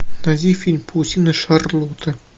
найди фильм паутина шарлотты